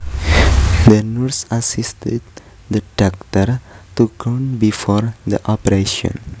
The nurse assisted the doctor to gown before the operation